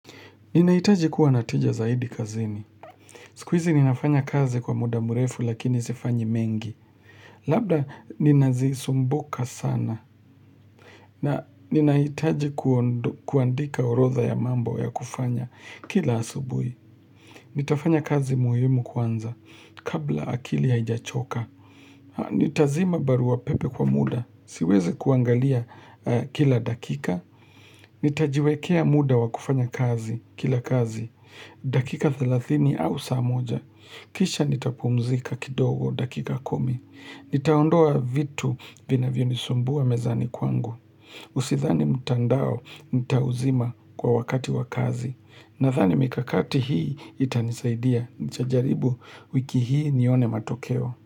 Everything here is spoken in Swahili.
Ninahitaji kuwa na tija zaidi kazini. Sikuizi ninafanya kazi kwa muda mrefu lakini sifanyi mengi. Labda ninazisumbuka sana. Na ninahitaji kuandika horodha ya mambo ya kufanya kila asubui. Nitafanya kazi muhimu kwanza kabla akili haijachoka. Nitazima barua pepe kwa muda. Siwezi kuangalia kila dakika. Nitajiwekea muda wa kufanya kazi kila kazi. Dakika 30 au saa moja. Kisha nitapumzika kidogo dakika kumi. Nitaondoa vitu vinavyo nisumbua mezani kwangu. Usidhani mtandao nitauzima kwa wakati wakazi. Nadhani mikakati hii itanisaidia. Nitajaribu wiki hii nione matokeo.